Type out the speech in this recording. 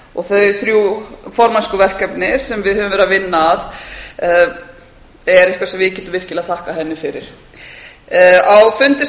og þau þrjú formennskuverkefni sem við höfum verið að vinna að er eitthvað sem við getum virkilega þakkað henni fyrir á